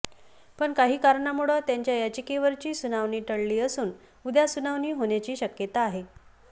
पण काही कारणांमुळं त्यांच्या याचिकेवरची सुनावणी टळली असून उद्या सुनावणी होण्याची शक्यता आहे